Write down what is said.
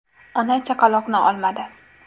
Ona chaqaloqni olmadi.